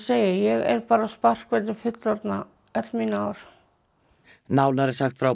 segi ég er bara á sparkvelli fullorðinna öll mín ár nánar er sagt frá